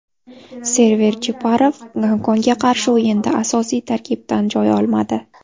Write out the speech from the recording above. Server Jeparov Gonkongga qarshi o‘yinda asosiy tarkibdan joy olmadi.